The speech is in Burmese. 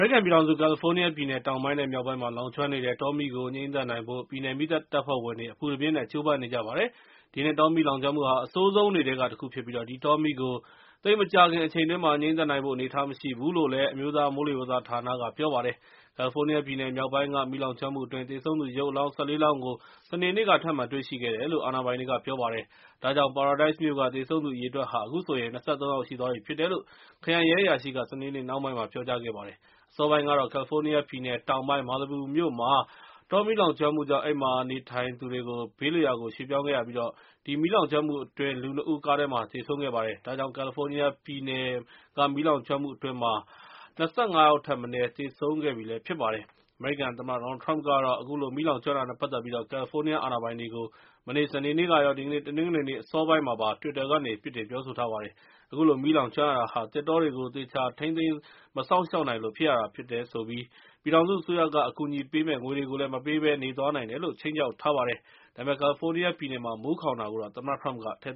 ရိကန်ပြည်ထောင်စု ကယ်လီဖိုးနီးယားပြည်နယ် တောင်ပိုင်း နဲ့ မြောက်ပိုင်းမှာလောင်ကျွမ်းနေတဲ့ တောမီးကို ငြှိမ်းသတ်နိုင်ဖို့ ပြည်နယ်မီးသတ်တပ်ဖွဲ့ဝင်တွေ အပူတပြင်းကျိုးပမ်းနေကြပါတယ်။ ဒီနှစ်တောမီးလောင်ကျွမ်းမှုဟာ အဆိုးဆုံးတွေထဲက တခုဖြစ်ပြီး၊ ဒီတောမီးကို သိပ်မကြာခင်အချိန်အတွင်း ငြိမ်းသတ်နိုင်ဖို့ အနေအထားမရှိဘူးလို့ အမျိုးသားမိုးလေဝသနဌာနကလည်း ပြောပါတယ်။ ကယ်လီဖိုးနီးယားပြည်နယ်မြောက်ပိုင်းက မီးလောင်ကျွမ်းမှုအတွင်း သေဆုံးသူရုပ်အလောင်း ၁၄ လောင်းကို စနေနေ့က ထပ်မံတွေ့ရှိခဲ့တယ်လို့ အာဏာပိုင်တွေက ပြောပါတယ်။ ဒါကြောင့် Paradise မြို့က သေဆုံးသူအရေအတွက်ဟာ ၂၃ ယောက်ရှိသွားပြီ ဖြစ်တယ်လို့ ခရိုင်ရဲအရာရှိက စနေနေ့ နှောင်းပိုင်းက ပြောပါတယ်။ အစောပိုင်းကတော့ ကယ်လီဖိုးနီးယားပြည်နယ်တောင်ပိုင်း Malibu မြို့မှာ၊ တောမီးလောင်ကျွမ်းမှုကြောင့် အဲဒီမြို့မှာ နေထိုင်သူတွေ ဘေးလွတ်ရာကို ရွှေ့ပြောင်းခဲ့ရပြီး၊ ဒီမီးလောင်ကျွမ်းမှုအတွင်း လူ ၂ ဦး ကားထဲမှာ သေဆုံးခဲ့ပါတယ်။ ကယ်လီဖိုးနီးယားပြည်နယ် တောင်ပိုင်း နဲ့ မြောက်ပိုင်းက မီးလောင်ကျွမ်းမှုအတွင်း ၂၅ ယောက်ထက်မနည်းသေဆုံးခဲ့ပြီဖြစ်ပါတယ်။ အမေရိကန်သမ္မတ ဒေါ်နယ်လ်ထရမ့်ကတော့ အခုလို မီးလောင်ကျွမ်းမှုနဲ့ ပတ်သက်ပြီး ကယ်လီဖိုးနီးယားအာဏာပိုင်တွေကို မနေ့ စနေနေ့ကရော ဒီကနေ့ တနင်္ဂနွေနေ့ အစောပိုင်းမှာပါ တွစ်တာကနေ ပြစ်တင်ပြောဆိုထားပါတယ်။ အခုလို မီးလောင်ကျွမ်းရတာဟာ သစ်တောတွေကို သေချာထိန်းသိမ်း မစောင့်ရှောက်နိုင်လို့ ဖြစ်ရတာဖြစ်ပြီး၊ ပြည်ထောင်စုအစိုးကပေးမယ့် ငွေတွေကို မပေးဘဲ နေသွားမယ်လို့ ခြိမ်းခြောက်လိုက်ပါတယ်။ ဒါပေမဲ့ ကယ်လီဖိုးနီးယား ပြည်နယ်မှာ မိုးခေါင်တာကိုတော့ သမ္မတထ၇မ့်က ထည့်